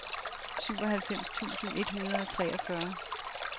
syvoghalvfems tusind et hundrede og treogfyrre